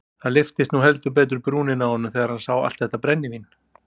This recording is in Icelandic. Það lyftist nú heldur betur brúnin á honum þegar hann sá allt þetta brennivín.